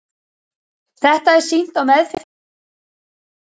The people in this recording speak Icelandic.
Þetta er sýnt á meðfylgjandi mynd og töflu.